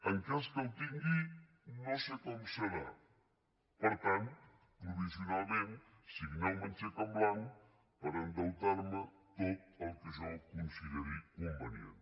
en cas que el tingui no sé com serà per tant provisionalment signeu me un xec en blanc per endeutar me tot el que jo consideri convenient